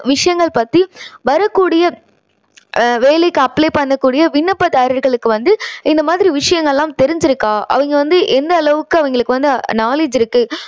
விஷயங்கள் பத்தி வரக்கூடிய அஹ் வேலைக்கு apply பண்ணக்கூடிய விண்ணப்பதாரர்களுக்கு வந்து இந்த மாதிரி விஷயங்கள் எல்லாம் தெரிஞ்சுருக்கா? அவங்க வந்து எந்த அளவுக்கு அவங்களுக்கு வந்து knowledge இருக்கு?